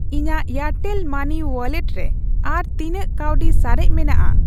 ᱤᱧᱟᱜ Airtel money wallet ᱨᱮ ᱟᱨ ᱛᱤᱱᱟᱹᱜ ᱠᱟᱹᱣᱰᱤ ᱥᱟᱨᱮᱡ ᱢᱮᱱᱟᱜᱼᱟ ?